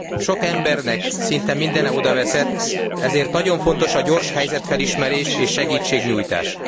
Sok embernek szinte mindene odaveszett, ezért nagyon fontos a gyors helyzetfelismerés és segítségnyújtás.